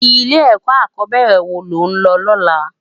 Ilè èkò ákòbèrè wó ló n lò lòlá?